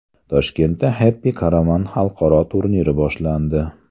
Toshkentda Happy Caravan xalqaro turniri boshlandi .